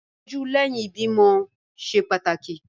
Ìtọ́jú lẹ́yìn ìbímọ ṣe pàtàkì.